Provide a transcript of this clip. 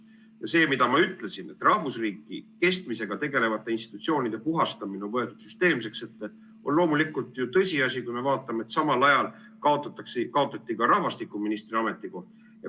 Ja see, mida ma ütlesin, et rahvusriigi kestmisega tegelevatest institutsioonidest puhastamine on muutunud süsteemseks, on ju tõsiasi, kui me vaatame, et samal ajal kaotati ka rahvastikuministri ametikoht.